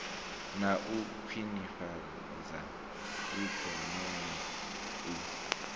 na u khwinifhadza ikonomi u